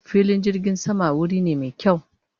fillin jirgin sama wuri ne me kyawu